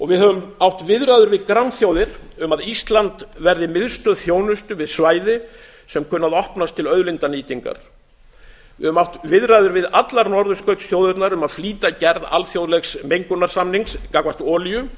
við höfum átt viðræður við grannþjóðir um að ísland verði miðstöð þjónustu við svæði sem kunna að opnast til auðlindanýtingar við höfum átt viðræður við allar norðurskautsþjóðirnar um að flýta gerð alþjóðlegs mengunarsamnings gagnvart olíu